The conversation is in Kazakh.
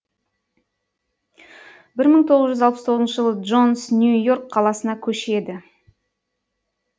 бір мың тоғыз жүз алпыс тоғызыншы жылы джонс нью йорк қаласына көшеді